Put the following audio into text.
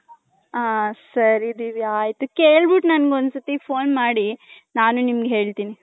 ಹ ಸರಿ ದಿವ್ಯ ಆಯ್ತು ಕೇಳಬಿಟ್ಟು ನನಿಗೆ ಒಂದ್ ಸಲ phone ಮಾಡಿ.